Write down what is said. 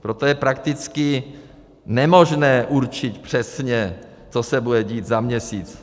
Proto je prakticky nemožné určit přesně, co se bude dít za měsíc.